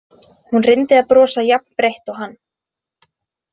Hún reyndi að brosa jafn breitt og hann.